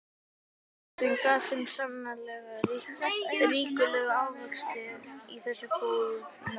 Jörðin gaf þeim sannarlega ríkulega ávexti í þessu góðæri.